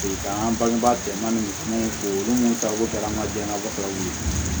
an ka bangebaa bɛn na ni mun ta ye ko jala an ka jɛ ka bɔ